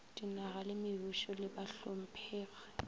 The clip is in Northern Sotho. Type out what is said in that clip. dinaga le mebušo le bahlomphegi